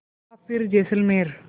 या फिर जैसलमेर